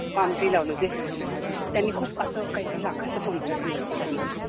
palm tree लावले होते, त्यांनी खूप असं लाखाचं contract दिलं होतं त्यांना